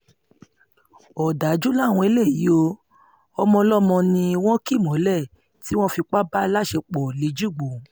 òdájú làwọn eléyìí ò ọmọọlọ́mọ um ni wọ́n kì mọ́lẹ̀ tí wọ́n fipá bá láṣepọ̀ um lẹ́jìgbò